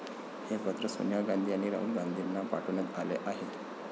हे पत्र सोनिया गांधी आणि राहुल गांधींना पाठवण्यात आले आहे.